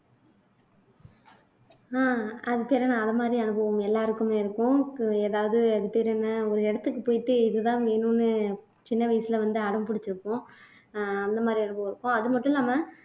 அஹ் அதை மாதிரி அனுபவம் எல்லாருக்குமே இருக்கும் ஏதாவது அது பேரென்ன ஒரு இடத்துக்கு போயிட்டு இதுதான் வேணும்னு சின்ன வயசுல வந்து அடம் பிடிச்சிருப்போம் அஹ் அந்த மாதிரி அனுபவம் இருக்கும் அது மட்டும் இல்லாம